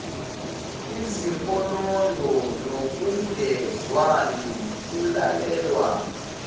izinkonondo nokungezwani kulalelwa